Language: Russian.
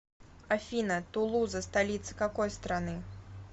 афина тулуза столица какой страны